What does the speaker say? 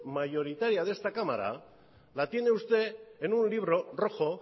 mayoritaria de esta cámara la tiene usted en un libro rojo